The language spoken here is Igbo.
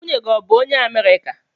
Nwunye gi bu onye America?